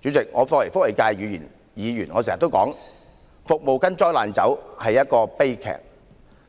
主席，作為社福界的議員，我經常說"服務跟災難走"是一個悲劇，